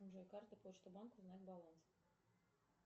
джой карта почта банка узнать баланс